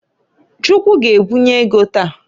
Chukwu g'ebunye ego taa.